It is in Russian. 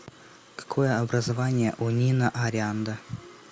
какое образование у нина арианда